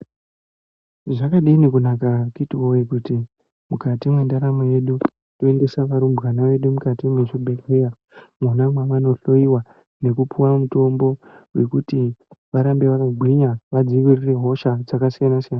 Zvakadini kunaka akhiti woye kuti mukati mwendaramo yedu toendesa varumbwana vedu mukati mwezvibhedhlera mwona mwavanohloiwa nekupuwa mutombo wekuti varambe vakagwinya vadzivirire hosha dzakasiyana siyana.